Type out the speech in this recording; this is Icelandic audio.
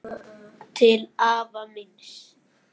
Til afa míns.